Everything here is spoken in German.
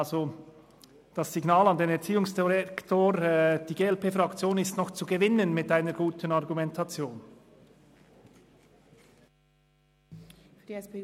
Deshalb sende ich das Signal an den Herrn Erziehungsdirektor, wonach die glp-Fraktion noch mit guten Argumenten zu gewinnen ist.